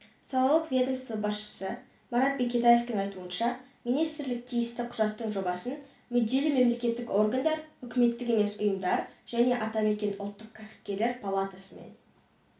салалық ведомство басшысы марат бекетаевтың айтуынша министрлік тиісті құжаттың жобасын мүдделі мемлекеттік органдар үкіметтік емес ұйымдар және атамекен ұлттық кәсіпкерлер палатасымен